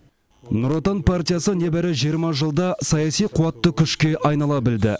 нұр отан партиясы небәрі жиырма жылда саяси қуатты күшке айнала білді